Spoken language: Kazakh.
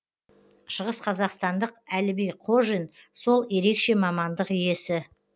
шығысқазақстандық әліби қожин сол ерекше мамандық иесі